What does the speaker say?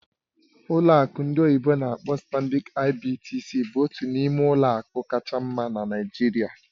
Ọlụ akụ ndị oyibo n'akpọ "StanbicIBTC" bụ otu n'ime ụlọ akụ kacha mma na Naịjirịa